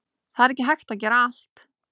Það er ekki hægt að gera allt